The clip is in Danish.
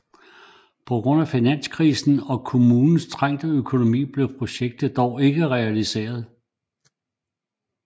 På grund af finanskrisen og kommunens trængte økonomi blev projektet dog ikke realiseret